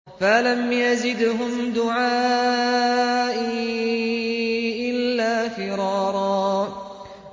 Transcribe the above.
فَلَمْ يَزِدْهُمْ دُعَائِي إِلَّا فِرَارًا